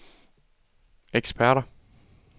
eksperter